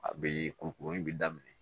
A bɛ kurukuru in bɛ daminɛ